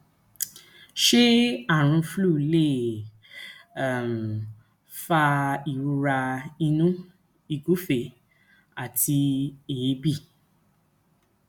ṣé àrùn flu lè um fa ìrora inu ìgufe àti eebi